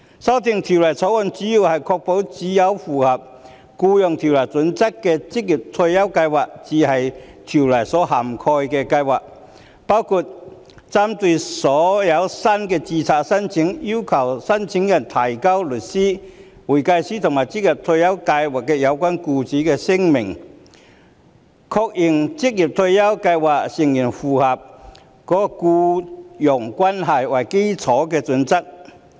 修訂《條例草案》的主要目的，是確保只有符合《僱傭條例》準則的職業退休計劃才是《條例》所涵蓋的計劃，包括針對所有新的註冊申請，要求申請人提交律師、會計師和職業退休計劃有關僱主的聲明，確認職業退休計劃成員符合僱傭關係為基礎的準則。